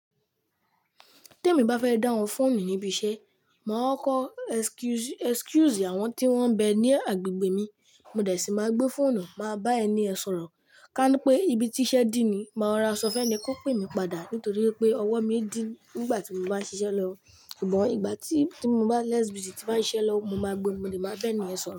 Tí èmi bá fẹ́ dá wọn fọ́ọ̀nù níbi iṣẹ́, màá kọ excuse, excuse àwọn tí wọ́n ń bẹ ní agbègbè mi. Mo dẹ̀ sí máa gbé fóònù, màá bá ẹni ẹ sọ̀rọ̀. Kánípé ibi tí iṣẹ́ dí ni, màá rora ṣọ fún ẹ ní yen kó pè mí padà nítorí pé ọwọ́ mi dí nígbà tí mo bá ń ṣiṣẹ́ lọ. Ṣùgbọ́n ìgbà tí, tí mo bá lẹ́sìbí tí bá ń iṣẹ́ lọ, mo máa gbé ọmọdé, màá bá ẹni ẹ sọ̀rọ̀